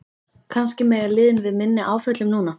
Kannski mega liðin við minni áföllum núna?